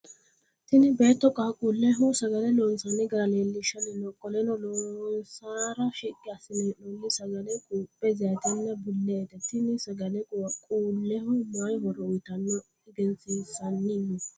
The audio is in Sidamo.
Tinni beetto qaaquuleho sagale loonsanni gara leelishanni no. Qoleno loonsara shiqi asine hee'noonni sagale quuphu, zayitenna buleete. Tinni sagale qaaqquuleho mayi horo uyitanoro egensiisanni no.